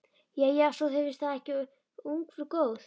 Jæja, svo þér finnst það ekki ungfrú góð.